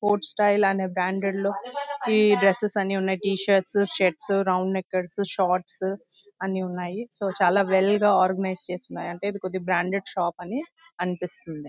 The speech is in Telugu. స్పోర్ట్స్ స్టైల్ అనే బ్రాండెడ్ లో ఈ డ్రెస్సెస్ అన్ని ఉన్నాయి. టీ-షర్ట్స్ షర్ట్స్ రౌండ్నెక్ షార్ట్స్ అన్ని ఉన్నాయి. సో చాలా వెల్ గా ఆర్గనైజ్ చేసి ఉన్నాయి. ఇది కొద్దిగా బ్రాండెడ్ షాప్ అని అనిపిస్తుంది.